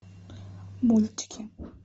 мультики